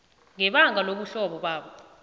ngebanga lobuhlobo babo